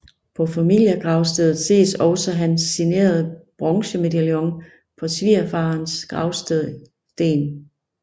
På familiegravstedet ses også hans signerede bronzemedaljon på svigerfarens gravsten